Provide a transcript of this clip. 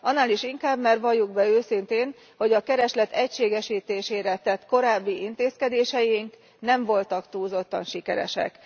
Annál is inkább, mert valljuk be őszintén, hogy a kereslet egységesítésére tett korábbi intézkedéseink nem voltak túlzottan sikeresek.